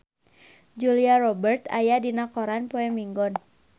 Julia Robert aya dina koran poe Minggon